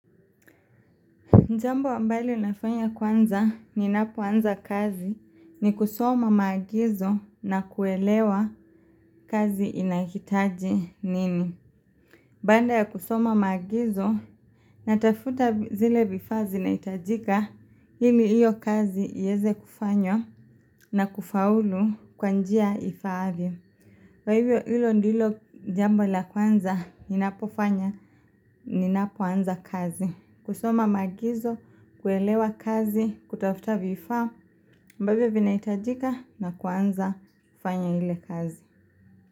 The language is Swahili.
Jambo ambalo nafanya kwanza ninapoanza kazi ni kusoma maagizo na kuelewa kazi inahitaji nini. Baada ya kusoma maagizo natafuta zile vifaa zinahitajika ili hiyo kazi iweze kufanywa na kufaulu kwa njia ifaavyo. Kwa hivyo hilo ndilo jambo la kwanza, ninapofanya, ninapoanza kazi. Kusoma maagizo, kuelewa kazi, kutafuta vifaa, ambavyo vinahitajika na kuanza kufanya ile kazi.